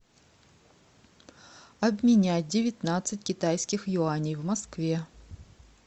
обменять девятнадцать китайских юаней в москве